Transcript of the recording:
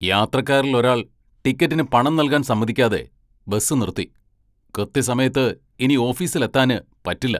യാത്രക്കാരിൽ ഒരാൾ ടിക്കറ്റിന് പണം നൽകാൻ സമ്മതിക്കാതെ ബസ് നിർത്തി, കൃത്യസമയത്ത് ഇനി ഓഫീസിൽ എത്താന് പറ്റില്ല.